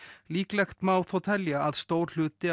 líklegt má telja að stór hluti